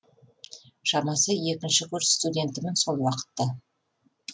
шамасы екінші курс студентімін сол уақытта